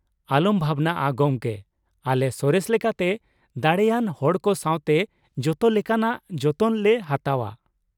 ᱟᱞᱚᱢ ᱵᱷᱟᱵᱱᱟᱜᱼᱟ ᱜᱚᱢᱠᱮ, ᱟᱞᱮ ᱥᱚᱨᱮᱥ ᱞᱮᱠᱟᱛᱮ ᱫᱟᱲᱮᱭᱟᱱ ᱦᱚᱲ ᱠᱚ ᱥᱟᱶᱛᱮ ᱡᱚᱛᱚ ᱞᱮᱠᱟᱱᱟᱜ ᱡᱚᱛᱚᱱ ᱞᱮ ᱦᱟᱛᱟᱣᱼᱟ ᱾